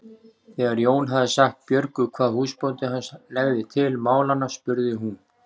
Þegar Jón hafði sagt Björgu hvað húsbóndi hans legði til málanna spurði hún